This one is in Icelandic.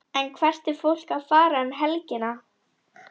En hvert er fólk að fara um helgina?